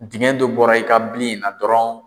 Dingɛ dɔ bɔra i ka bili in na dɔrɔnw